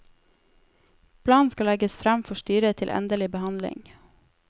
Planen skal legges fram for styret til endelig behandling.